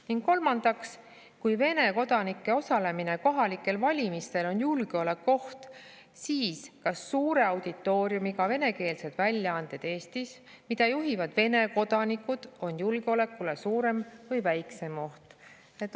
" Ning kolmandaks: "Kui Vene kodanike osalemine kohalikel valimistel on julgeolekuoht, siis kas suure auditooriumiga venekeelsed väljaanded Eestis, mida juhivad Vene kodanikud, on julgeolekule suurem või väiksem oht?